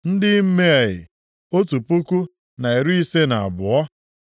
ndị Imea, otu puku na iri ise na abụọ (1,052)